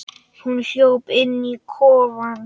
Hún hljóp inn í kofann.